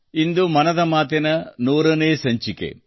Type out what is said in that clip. ಇಂದು ಮನದ ಮಾತಿನ ನೂರನೇ ಸಂಚಿಕೆ